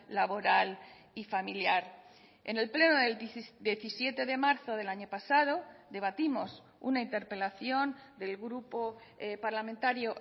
laboral y familiar en el pleno del diecisiete de marzo del año pasado debatimos una interpelación del grupo parlamentario